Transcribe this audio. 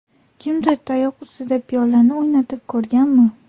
Kimdir tayoq ustida piyolani o‘ynatib ko‘rganmi?